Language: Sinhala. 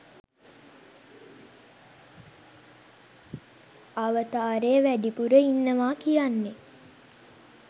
අවතාරය වැඩිපුර ඉන්නවා කියන්නේ.